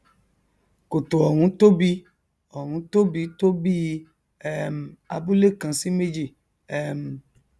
kòtò ọhún tóbi ọhún tóbi tó bíi um abúle kan sí méjì um